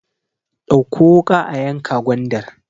Dauƙo wuka a yanka gwandar!